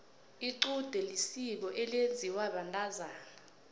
lqude lisike elinziwa bantazana